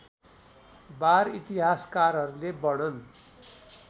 वार इतिहासकारहरूले वर्णन